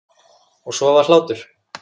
Og svo var hlátur.